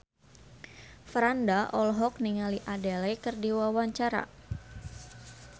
Franda olohok ningali Adele keur diwawancara